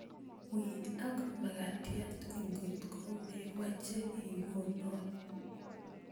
Wii ak makatyat kotko memoche ikonon